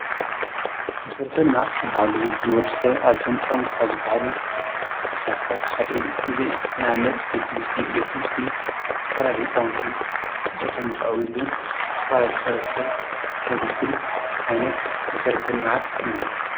መሠረተ ልመዓት ዝብሃሉ ንወድሠር ኣዚሆም ጠም ትኻ ዝበሃሎ መሣራህታት ሓደይ ዘ እናምነት ቤት ር ቤት ሙርቲ ተፋላ ልሕጸወንቲ ምልጠቶም መኽዑዊ ኢሉ ተፍላ ሊሑ ረስብ ዘግልግል ዓይነት መሠረተንምዓት እዩ::